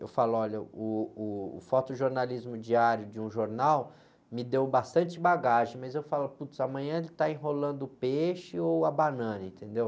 Eu falo, olha, uh, o fotojornalismo diário de um jornal me deu bastante bagagem, mas eu falo, putz, amanhã ele está enrolando o peixe ou a banana, entendeu?